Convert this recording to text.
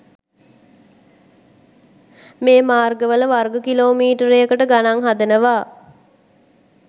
මේ මාර්ගවල වර්ග කිලෝමීටරයකට ගණන් හදනවා